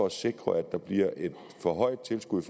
at sikre et forhøjet tilskud